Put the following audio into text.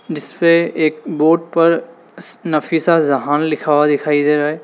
जिस पे एक बोर्ड पर नफीस जहां लिखा हुआ दिखाई दे रहा है।